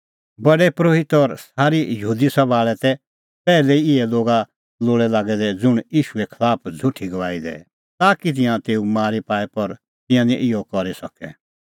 प्रधान परोहित और सारी यहूदी सभा आल़ै तै पैहलै ई इहै लोगा लोल़ै लागै दै ज़ुंण ईशूए खलाफ झ़ुठी गवाही दैए ताकि तिंयां तेऊ मारी पाए पर तिंयां निं इहअ करी सकै